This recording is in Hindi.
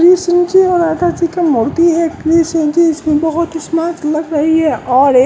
यह तो मोटी है यह ड्रेस पहनकर इसमें बहुत स्मार्ट लग रही है और एक--